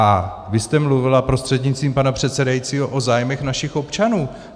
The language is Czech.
A vy jste mluvila prostřednictvím pana předsedajícího o zájmech našich občanů.